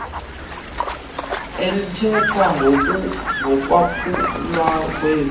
elithetha ngokwaphulwa kwesi